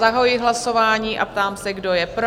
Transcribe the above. Zahajuji hlasování a ptám se, kdo je pro?